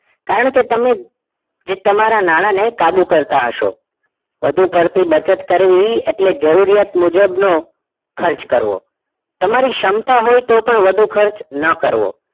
કારણકે તમે જે તમારા નાણાને કાબુ કરતા હશો વધુ પડતી બચત કરવી એટલે જરૂરિયાત મુજબનો ખર્ચ કરવો તમારી ક્ષમતા હોય તો પણ વધુ ખર્ચ ન કરવો